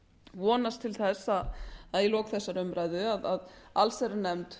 vonast til þess að í lok þessarar umræðu muni allsherjarnefnd